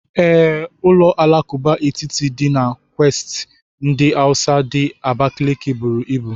Ee, ụlọ alakụba etiti dị na quatasi ndi Hausa di Abakaliki buru ibu.